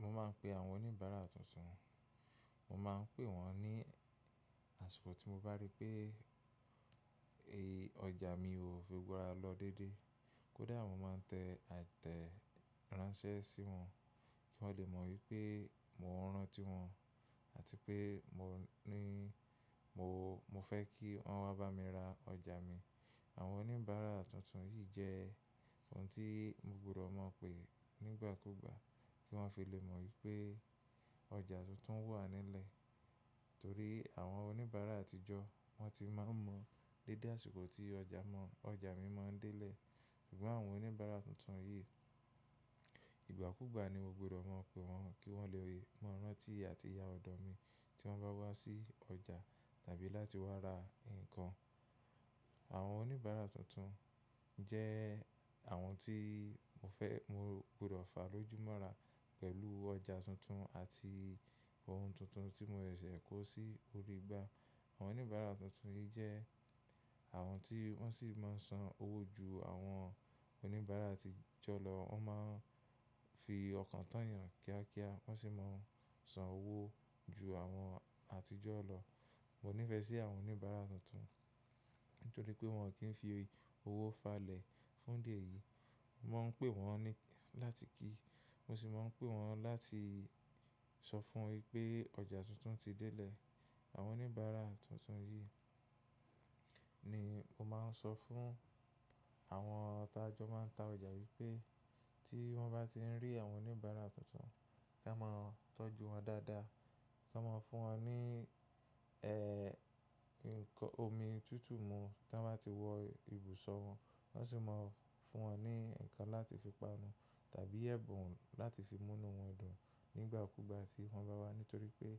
Mo máa ń pe àwọn oníbàárà tuntun, mo máa ń pè wọ́n ní àṣikọ̀ tí mo bá rí pé è ọjà mi ò fi gbogbo ará lọ dédé. Kódà mo máa ń tẹ àtẹ ìránṣẹ́ sí wọn, kó lè mọ wípé mo ń ran tí wọn àti pé mo ní mo, mo fẹ́ kí wọ́n wá bá mi ra ọjà mi. Àwọn oníbàárà tuntun yìí jẹ́ ohun tí mo gbọdọ̀ mọ̀ pé nígbàkúgbà kí wọ́n fi lè mọ wípé ọjà tuntun wà nílẹ̀. Torí àwọn oníbàárà àtijọ́ wọ́n ti máa ń mọ dédé àṣìkọ̀ tí ọjà mọ, ọjà mi mọ́ ń dẹ́lẹ̀. Ṣùgbọ́n àwọn oníbàárà tuntun yìí, ìgbàkúgbà ni mo gbọdọ̀ mọ̀ pé wọ́n, kí wọ́n lè mo rántí àti yá ọ̀dọ̀ mi tí wọ́n bá wá sí ọjà tàbí láti wá ra nǹkan. Àwọn oníbàárà tuntun jẹ́ àwọn tí mo fẹ́, mo gbọdọ̀ fà lójú mọ́ra pẹ̀lú ọjà tuntun àti ohun tuntun tí mò se ṣẹ̀ kó sí orí igbá. Àwọn oníbàárà tuntun yìí jẹ́ àwọn tí wọ́n sì máa ń san owó ju àwọn oníbàárà àtijọ́ lọ. Wọ́n máa ń fi ọkàn tányàn kíá kíá, wọ́n sì máa ń san owó ju àwọn àtijọ́ lọ. Mo nífẹ̀ẹ́ sí àwọn oníbàárà tuntun nítorí pé wọn ò kí ń fi owó falẹ̀ fún di eyí. Mọ̀ ń pè wọ́n ní láti kí, mo sì máa ń pè wọ́n láti sọ fún wọn ipé ọjà tuntun ti délé. Àwọn oníbàárà tuntun yìí ni mo máa ń sọ fún àwọn tá jó máa ń ta ọjà wípé tí wọ́n bá ti ń rí àwọn oníbàárà tuntun, kí wọ́n máa tọ́jú wọn dáadáa. Kò mó fún wa ní omi tuntun mú tó bá ti wò ibusan won. Má sì máa fún wọn ní ǹkan láti fi panu tàbí ẹ̀bùn láti fi mú inú wọn dùn nígbàkúgbà tí wọ́n bá wá, nítorí pé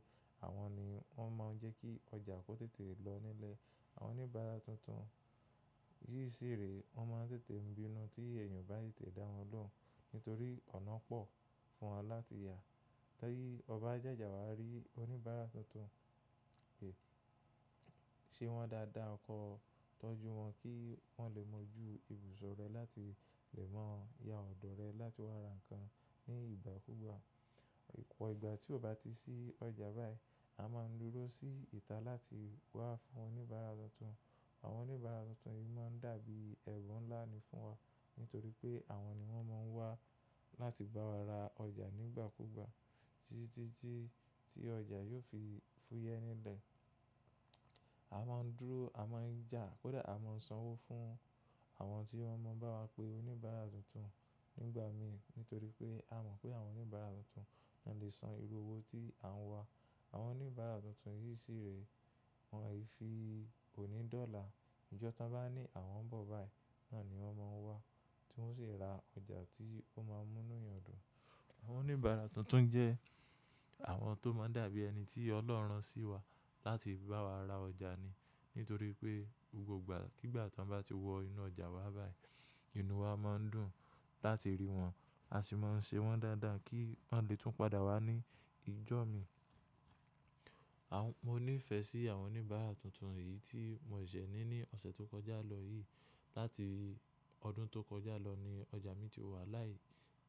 àwọn ni wọ́n máa ń jẹ́ kí ọjà kó tètè lọ nílẹ̀. Àwọn oníbàárà tuntun yìí sì rèé wọ́n máa ń tètè ń bínú tí èèyàn ó bá tètè dá wọn lóhùn, nítorí ọ̀nà pọ̀ fún wọn láti yà. Tí ọ ba jàjà wà, rí oníbàárà tuntun, ṣe wọ́n dáadáa, kó tọ́jú wọn kí wọ́n lè mọ̀ ju ibùsọ̀ rẹ láti lè máa yá ọ̀dọ̀ rẹ láti wá ra nǹkan ní ìgbàkúgbà. Ìpọ̀ ìgbà tí o bá ti sí ọjà báyìí, a máa ń dúró sí ìta láti wá fún oníbàárà tuntun. Àwọn oníbàárà tuntun yìí máa ń dàbí ẹbùn ńlá ni fún wa nítorí pé àwọn ni wọ́n máa ń wá láti bá wa ra ọjà nígbàkúgbà tí, tí, tí ọjà yóò fi fúyẹ́ nílẹ̀. A máa ń dúró, a máa ń jà, kódà a máa ń san owó fún àwọn tí wọ́n mọ̀ bá wa pé oníbàárà tuntun nígbà mí nítorí pé a mọ̀ pé àwọn oníbàárà tuntun náà lè san irú owó tí à ń wá. Àwọn oníbàárà tuntun yìí sì rèé, wọ́n àì fi òní dọ́là. Ìjọ tan bá ní àwọn ń bọ̀ báyìí, náà ni wọ́n máa ń wá tí wọ́n sì ra ọjà tí ó máa ń mú inú yan dùn. Àwọn oníbàárà tuntun jẹ́ àwọn tó máa ń dàbí ẹni tí Ọlọ́run ran sí wa láti bá wa ra ọjà ni nítorí pé gbogbo ìgbà kígbà tí o n bá ti wọ inú ọjà wa báyìí, inú wa máa ń dùn láti rí wọn. A sì máa ń ṣe wọ́n dáadáa kí wọ́n lè tún padà wá ní ìjọ mi. Àwọn, mo nífẹ̀ẹ́ sí àwọn oníbàárà tuntun yìí tí mò ṣẹ̀ ní ní ọ̀sẹ̀ tó kọjá lọ yìí. Láti ọdún tó kọjá lọ ni ọjà mi ti wà láì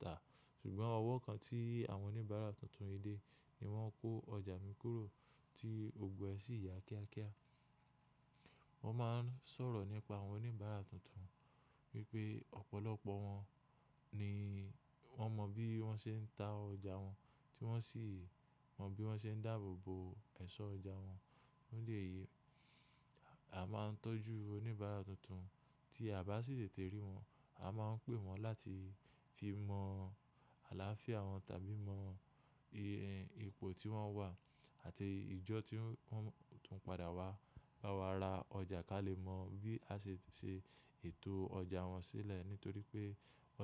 ta. Ṣùgbọ́n ọwọ́ kan tí àwọn oníbàárà tuntun yìí dé ni wọ́n kó ọjà mi kúrò tí gbogbo ẹ sì yà kíá kíá. Wọ́n máa ń sọ̀rọ̀ nípa àwọn oníbàárà tuntun wipe opolopo won ni won mo bi won se n ta oja won ti won si mo bi won se n dabobo oja won. Nílé yìí, a máa ń tọ́jú oníbàárà tuntun tí a bá sì tètè rí wọn. A máa ń pè wọ́n láti fi mọ àlàáfíà wọn tàbí mọ ìhìn, ipò tí wọ́n wà àti ìjọ tí wọ́n tún padà wá bá wa ra ọjà kí a lè mọ bí a ṣe lè ṣe ètò ọjà wọn sílẹ̀ nítorí pé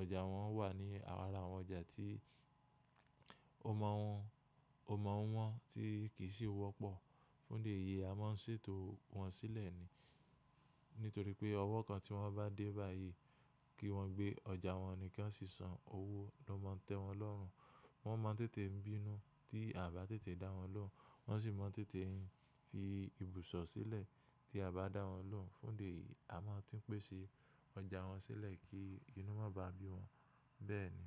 ọjà wọn wà ní ara àwọn ọjà tí o máa wọ́n, o máa wọ́n tí kì í sì wọ́pọ̀. Fún idi eyí, a máa ń ṣètò wọ́n sílẹ̀ ni nítorí pé ọwọ́ kan tí wọ́n bá dé báyìí kí wọ́n gbé ọjà wọn ni kí wọ́n sì san owó ló máa ń tẹ́ wọn lọ́run. Wọ́n máa ń tètè bínú tí a bá tètè dá wọn lóhùn. Wọ́n sì máa ń tètè fi ibùsọ̀ sílẹ̀ tí a bá dá wọn lóhùn. Fún dè yí, a máa ń ti n pèsè ọjà wọn sílẹ̀ kí inú má ba bí wọn. Bẹ́ẹ̀ ni.